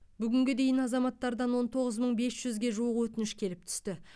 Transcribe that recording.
бүгінге дейін азаматтардан он тоғыз мың бес жүзге жуық өтініш келіп түсті